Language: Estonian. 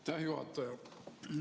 Aitäh, juhataja!